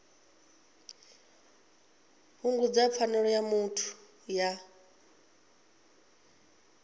fhungudza pfanelo ya muthu ya